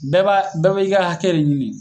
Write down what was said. Bɛɛ b'a bɛɛ be i ka hakɛ de ɲini